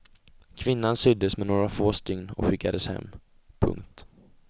Kvinnan syddes med några få stygn och skickades hem. punkt